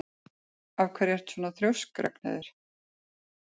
Af hverju ertu svona þrjóskur, Ragnheiður?